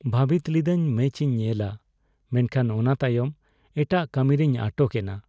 ᱵᱷᱟᱹᱵᱤᱛ ᱞᱤᱫᱟᱹᱧ ᱢᱮᱪᱤᱧ ᱧᱮᱞᱼᱟ ᱢᱮᱱᱠᱷᱟᱱ ᱚᱱᱟ ᱛᱟᱭᱚᱢ ᱮᱴᱟᱜ ᱠᱟᱹᱢᱤᱨᱮᱧ ᱟᱴᱚᱠ ᱮᱱᱟ ᱾